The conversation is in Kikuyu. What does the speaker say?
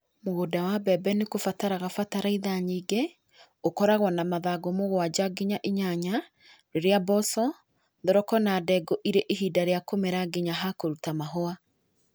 Mũgũnda wa mbembe nĩ kũbataraga bataraitha nyingĩ. Ũkoragwo na mathangũ mũgwaja nginya inyanya. Rĩrĩa mboco, thoroko na ndengũ irĩ ihinda rĩa kũmera nginya ha kũrũta mahũa.